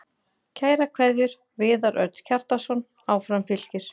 Kærar kveðjur, Viðar Örn Kjartansson Áfram Fylkir